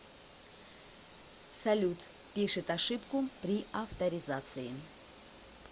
салют пишет ошибку при авторизации